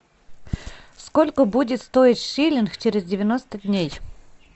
сколько будет стоить шиллинг через девяносто дней